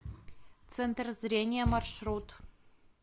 центр зрения маршрут